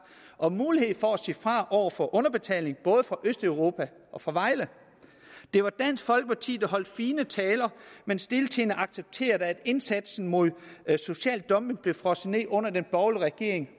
og mulighed for at sige fra over for underbetaling både fra østeuropa og fra vejle det var dansk folkeparti der holdt fine taler men stiltiende accepterede at indsatsen mod social dumping blev frosset ned under den borgerlige regering